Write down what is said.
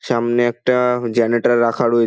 সামনে একটা জেনারেটর রাখা রয়ে --